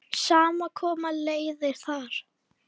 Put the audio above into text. Saman koma leiðir þar.